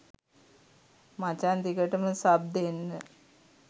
මචං දිගටම සබ් දෙන්න